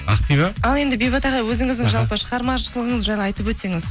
ақбибі ал енді бейбіт ағай өзіңіздің жалпы шығармашылығыңыз жайлы айтып өтсеңіз